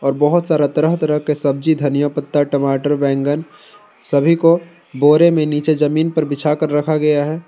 और बहुत सारा तरह तरह का धनिया पत्ता टमाटर बैगन सभी को बोरे में जमीन पर नीचे बिछाकर रखा गया है।